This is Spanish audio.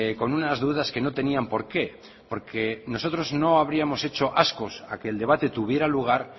con unas dudas que no tenían porqué porque nosotros no hubiéramos hechos ascos a que el debate tuviera lugar